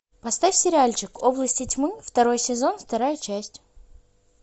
поставь сериальчик области тьмы второй сезон вторая часть